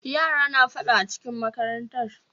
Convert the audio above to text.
Yara na faɗa acikin makarantar.